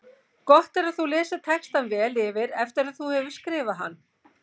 Gott er að þú lesir textann vel yfir eftir að þú hefur skrifað hann.